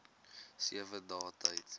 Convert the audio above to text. sewe dae tyd